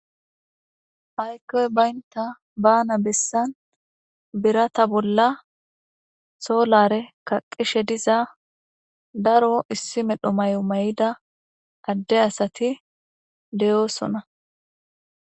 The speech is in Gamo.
Haykkoy baynta baana bessan birata bolla solare kaqishe diza daro issi medho may7o may7ida adde asati deyoosona.